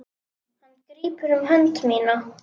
Hann grípur um hönd mína.